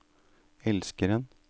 elskeren